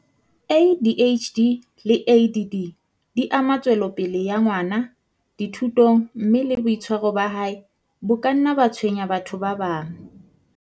ADHD le ADD di ama tswelopele ya ngwana dithutong mme le boitshwaro ba hae bo ka nna ba tshwenya batho ba bang.